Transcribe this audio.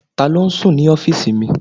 Taló n sùn ní ọ́fìsì mi?